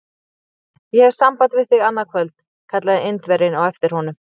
Ég hef samband við þig annað kvöld! kallaði Indverjinn á eftir honum.